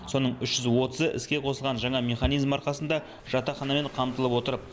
соның үш жүз отызы іске қосылған жаңа механизм арқасында жатақханамен қамтылып отыр